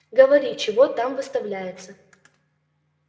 говори чего там выставляется